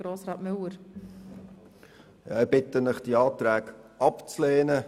Ich bitte Sie, die Anträge abzulehnen.